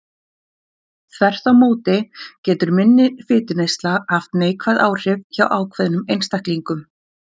Þvert má móti getur minni fituneysla haft neikvæð áhrif hjá ákveðnum einstaklingum.